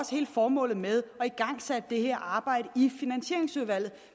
også hele formålet med at igangsætte det her arbejde i finansieringsudvalget